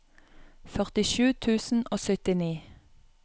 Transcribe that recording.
førtisju tusen og syttini